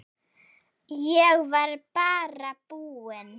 Ég var bara búinn.